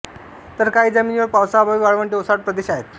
तर काही जमिनीवर पावसाअभावी वाळवंटे ओसाड प्रदेश आहेत